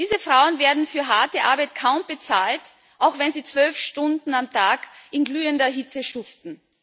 Diese Frauen werden für harte Arbeit kaum bezahlt, auch wenn sie zwölf Stunden am Tag in glühender Hitze schuften.